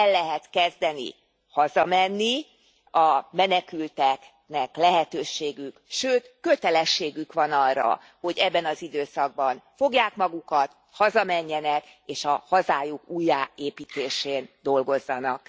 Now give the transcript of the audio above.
El lehet kezdeni hazamenni, a menekülteknek lehetőségük, sőt, kötelességük van arra, hogy ebben az időszakban fogják magukat, hazamenjenek és a hazájuk újjáépítésén dolgozzanak.